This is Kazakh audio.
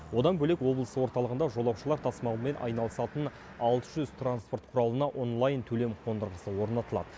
одан бөлек облыс орталығында жолаушылар тасымалымен айналысатын алты жүз транспорт құралына онлайн төлем қондырғысы орнатылады